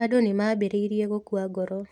Andũ nĩ maambĩrĩirie gũkua ngoro.